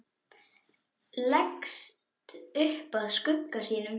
Leggst upp að skugga sínum.